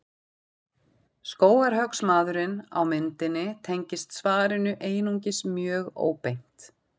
Skógarhöggsmaðurinn á myndinni tengist svarinu einungis mjög óbeint.